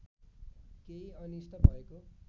केही अनिष्ट भएको